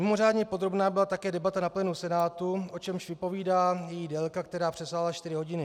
Mimořádně podrobná byla také debata na plénu Senátu, o čemž vypovídá její délka, která přesáhla čtyři hodiny.